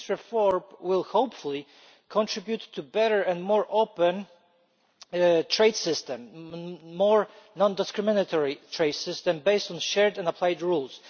This reform will, hopefully, contribute to a better and more open trade system a more non discriminatory trade system based on shared and applied rules.